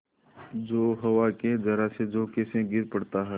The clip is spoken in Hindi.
जो हवा के जरासे झोंके से गिर पड़ता है